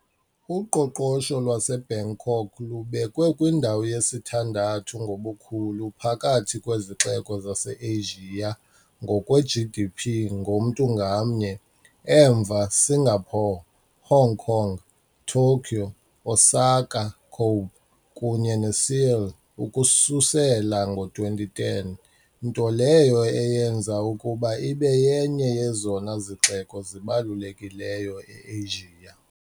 Uqoqosho lwaseBangkok lubekwe kwindawo yesithandathu ngobukhulu phakathi kwezixeko zaseAsia ngokwe- GDP ngomntu ngamnye, emva Singapore, Hong Kong, Tokyo, Osaka - Kobe kunye neSeoul ukususela ngo-2010, nto leyo eyenza ukuba ibe yenye yezona zixeko zibalulekileyo e-Asia.